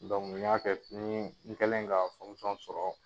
Dɔnku y'a kɛ, n kɛlen ka sɔrɔ